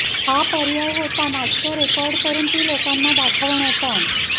हा पर्याय होता नाटकं रेकॉर्ड करून ती लोकांना दाखवण्याचा